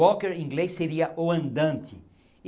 Walker, em inglês, seria o andante.